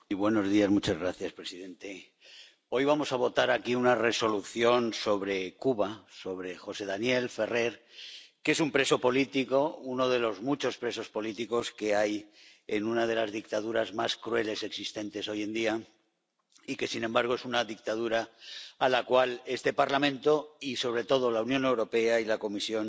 Señor presidente, hoy vamos a votar aquí una Resolución sobre Cuba, sobre José Daniel Ferrer, que es un preso político, uno de los muchos presos políticos que hay en una de las dictaduras más crueles existentes hoy en día y que, sin embargo, es una dictadura a la cual este Parlamento y, sobre todo, la Unión Europea y la Comisión